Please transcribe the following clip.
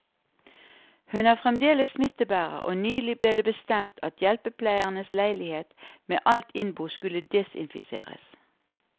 Hun er fremdeles smittebærer, og nylig ble det bestemt at hjelpepleierens leilighet med alt innbo skulle desinfiseres.